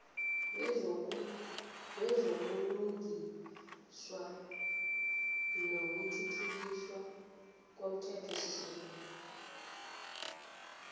wezobulungiswa nokuthuthukiswa komthethosisekelo